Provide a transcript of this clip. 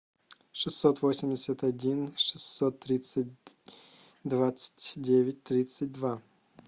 шестьсот восемьдесят один шестьсот тридцать двадцать девять тридцать два